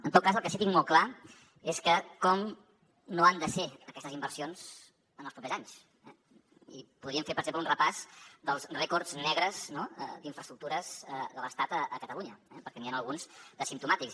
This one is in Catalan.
en tot cas el que sí que tinc molt clar és com no han de ser aquestes inversions en els propers anys eh i podríem fer per exemple un repàs dels rècords negres d’infraestructures de l’estat a catalunya perquè n’hi han alguns de simptomàtics